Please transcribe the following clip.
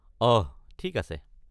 অঃ ঠিক আছে।